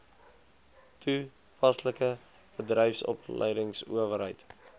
toe paslike bedryfsopleidingsowerheid